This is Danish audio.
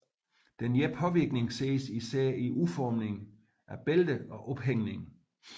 Denne påvirkning ses især i udformningen af bælter og ophængning